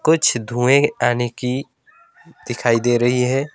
कुछ धुएं आने की दिखाई दे रही है।